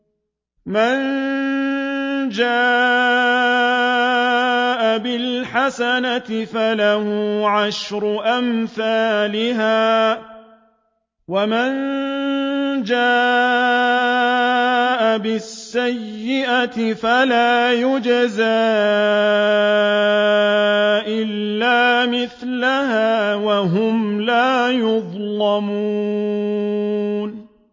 مَن جَاءَ بِالْحَسَنَةِ فَلَهُ عَشْرُ أَمْثَالِهَا ۖ وَمَن جَاءَ بِالسَّيِّئَةِ فَلَا يُجْزَىٰ إِلَّا مِثْلَهَا وَهُمْ لَا يُظْلَمُونَ